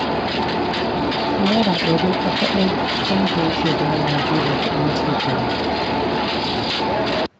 Naira ɗari fa kaɗai Tanko yake ba wa Habiba kuɗin cefane